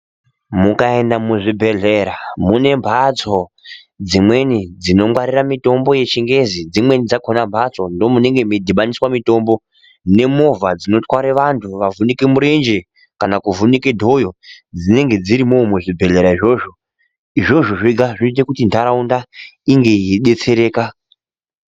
Mukaenda muzvibhedhlera mune mhatso dzimweni dzinongwarira mitombo yechingezi. Dzimweni dzakhona mhatso ndoomunenge mweidhibaniswe mitombo ngemovha dzinotware vanhu vavhunike murenje kana kuvhunike dhoyo dzinenge dzirimwowo muzvibhedhlera izvozvo. Izvozvo zvega zvinoite kuti nharaunda inge yeidetsereka.